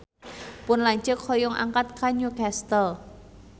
Pun lanceuk hoyong angkat ka Newcastle